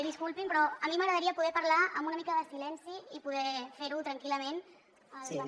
disculpin però a mi m’agradaria poder parlar amb una mica de silenci i poder fer ho tranquil·lament al parlament